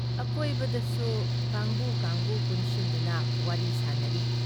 ꯑꯀꯣꯏꯕꯗꯁꯨ ꯀꯥꯡꯕꯨ-ꯀꯥꯡꯕꯨ ꯄꯨꯟꯁꯤꯟꯗꯨꯅ ꯋꯥꯔꯤ ꯁꯥꯅꯔꯤ ꯫